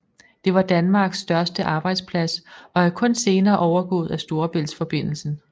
Det var Danmarks største arbejdsplads og er kun senere overgået af Storebæltsforbindelsen